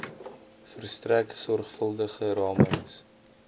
verstrek sorgvuldige ramings